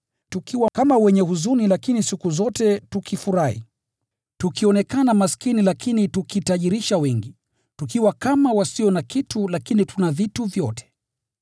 tukiwa kama wenye huzuni, lakini siku zote tukifurahi; tukionekana maskini, lakini tukitajirisha wengi; tukiwa kama wasio na kitu, lakini tuna vitu vyote.